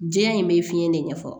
Diɲɛ in bɛ fiɲɛ de ɲɛfɔ